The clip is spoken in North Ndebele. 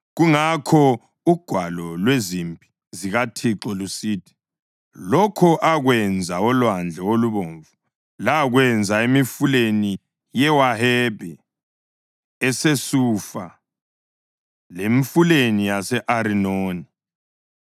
Kungakho uGwalo lweziMpi zikaThixo lusithi: “Lokho akwenza oLwandle oLubomvu lakwenza emifuleni yeWahebhi eseSufa lemifuleni yase-Arinoni